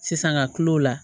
Sisan ka tila o la